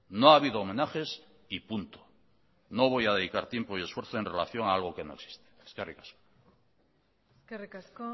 no ha habido homenajes y punto no voy a dedicar tiempo y esfuerzo en relación a algo que no existe eskerrik asko eskerrik asko